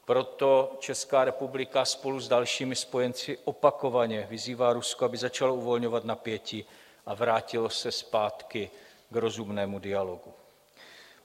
Proto Česká republika spolu s dalšími spojenci opakovaně vyzývá Rusko, aby začalo uvolňovat napětí a vrátilo se zpátky k rozumnému dialogu.